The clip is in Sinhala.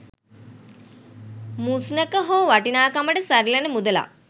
මුස්නක හෝ වටිනාකමට සරිලන මුදලක්